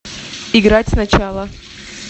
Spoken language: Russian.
играть сначала